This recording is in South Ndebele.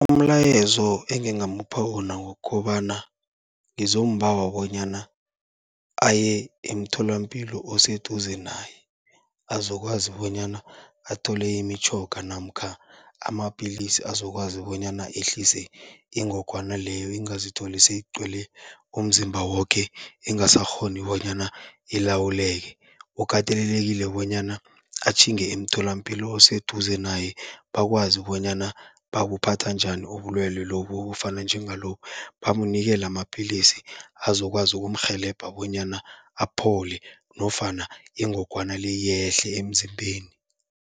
Umlayezo engingamupha wona wokobana, ngizombawa bonyana aye emtholampilo oseduze naye, azokwazi bonyana athole imitjhoga namkha amapilisi azokwazi bonyana ehlise ingogwana leyo, ingazitholi seyigcwele umzimba woke ingasakghoni bonyana ilawuleke. Ukatelelekile bonyana atjhinge emtholampilo oseduze naye, bakwazi bonyana babuphatha njani ubulwelwe lobu obufana njengalobu, bamnikele amapilisi azokwazi ukumrhelebha bonyana aphole nofana ingogwana le yehle emzimbeni.